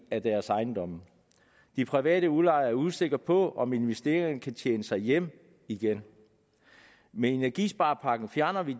af deres ejendomme de private udlejere er usikre på om investeringen kan tjene sig hjem igen med energisparepakken fjerner vi